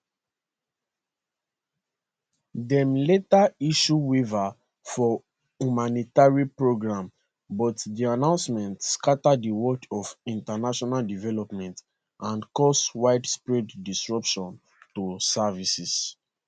dem later issue waivers for humanitarian programmes but di announcement scata di world of international development and cause widespread disruption to services